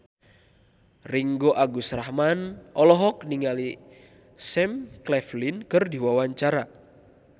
Ringgo Agus Rahman olohok ningali Sam Claflin keur diwawancara